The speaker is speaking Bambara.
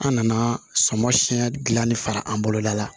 An nana sɔmɔ siyɛn gilanni far'an bolo da la